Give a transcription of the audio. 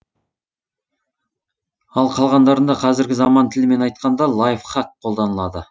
ал қалғандарында қазіргі заман тіліменн айтқанда лайфхак қолданылады